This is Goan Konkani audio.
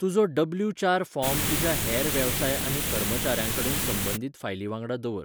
तुजो डब्ल्यू चार फॉर्म तुज्या हेर वेवसाय आनी कर्मचाऱ्यांकडेन संबंदीत फायलीं वांगडा दवर.